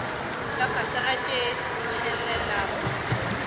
ka fase ga tše tshelelago